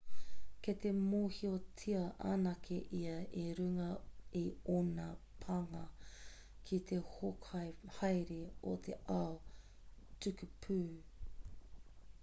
kei te mōhiotia anake ia i runga i ōna pānga ki te hōkai haere o te ao tukupū